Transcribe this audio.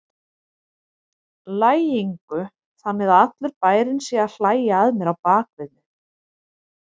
lægingu, þannig að allur bærinn sé að hlæja að mér á bak við mig.